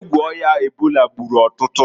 Egwu oya ebola gburu ọtụtụ.